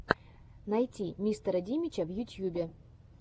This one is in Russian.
найти мистера димича в ютьюбе